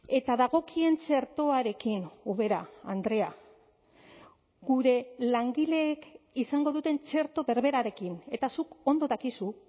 eta dagokien txertoarekin ubera andrea gure langileek izango duten txerto berberarekin eta zuk ondo dakizu